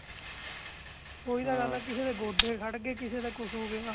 ਓਹੀ ਤੇ ਗੱਲ ਹੈ ਕਿਸੇ ਦੇ ਗੋਡੇ ਖੜ ਗਏ ਕਿਸੇ ਦੇ ਕੁਛ ਹੋ ਗਯਾ